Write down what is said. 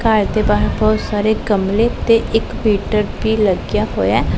ਘਰ ਦੇ ਬਾਹਰ ਬਹੁਤ ਸਾਰੇ ਗਮਲੇ ਤੇ ਇੱਕ ਮੀਟਰ ਭੀ ਲੱਗਿਆ ਹੋਇਐ।